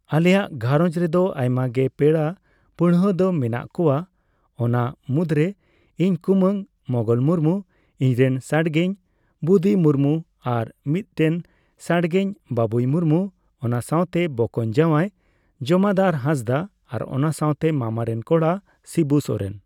ᱟᱞᱮᱭᱟᱜ ᱜᱷᱟᱨᱚᱸᱡᱽ ᱨᱮᱫᱚ ᱟᱭᱢᱟ ᱜᱮ ᱯᱮᱲᱟ ᱯᱟᱹᱲᱦᱟᱹ ᱫᱚ ᱢᱮᱱᱟᱜ ᱠᱚᱣᱟ ᱚᱱᱟ ᱢᱩᱫᱽᱨᱮ ᱤᱧ ᱠᱩᱢᱟᱹᱝ ᱢᱚᱝᱜᱚᱞ ᱢᱩᱨᱢᱩ, ᱤᱧᱨᱮᱱ ᱥᱟᱰᱜᱮᱧ ᱵᱩᱫᱤ ᱢᱩᱨᱢᱩ, ᱟᱨ ᱢᱤᱫᱴᱮᱱ ᱥᱟᱰᱜᱮᱧ ᱵᱟᱵᱩᱭ ᱢᱩᱨᱢᱩ, ᱚᱱᱟᱥᱟᱣᱛᱮ ᱵᱚᱠᱚᱧ ᱡᱟᱣᱟᱭ ᱡᱚᱢᱟᱫᱟᱨ ᱦᱟᱸᱥᱫᱟ, ᱟᱨ ᱚᱱᱟ ᱥᱟᱣᱛᱮ ᱢᱟᱢᱟ ᱨᱮᱱ ᱠᱚᱲᱟ ᱥᱤᱵᱩ ᱥᱚᱨᱮᱱ ᱾